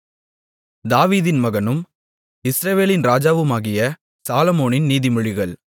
தாவீதின் மகனும் இஸ்ரவேலின் ராஜாவுமாகிய சாலொமோனின் நீதிமொழிகள்